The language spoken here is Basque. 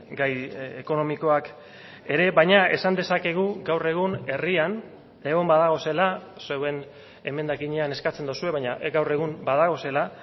gai ekonomikoak ere baina esan dezakegu gaur egun herrian egon badaudela zuen emendakinean eskatzen duzue baina gaur egun badaudela